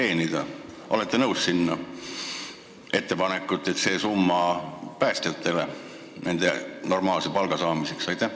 Kas olete nõus selle ettepanekuga, et see summa läheks päästjatele normaalse palga saamiseks?